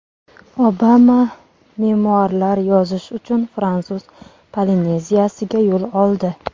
Obama memuarlar yozish uchun Fransuz Polineziyasiga yo‘l oldi.